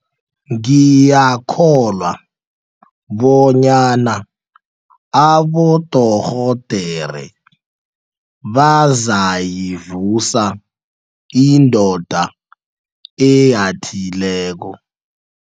Ngiyakholwa bonyana abodorhodere bazayivusa indoda eyathileko.